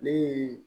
Ne ye